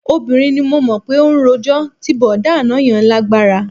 Obìnrin ni mo mọ̀ pé ó rojọ́, ti bọ̀dá àná yẹn lágbára